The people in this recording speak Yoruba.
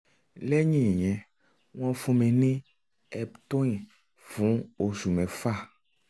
lẹ́yìn ìyẹn wọ́n fún mi ní eptoin fún oṣù mẹ́fà